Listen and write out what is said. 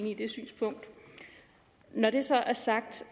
i det synspunkt når det så er sagt